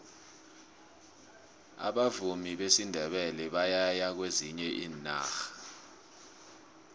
abavumi besindebele bayaya kwezinye iinarha